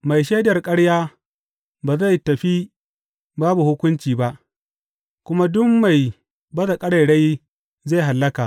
Mai shaidar ƙarya ba zai tafi babu hukunci ba, kuma duk mai baza ƙarairayi zai hallaka.